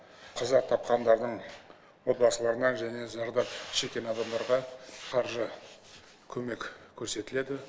қаза тапқандардың отбасыларына және зардап шеккен адамдарға қаржы көмек көрсетіледі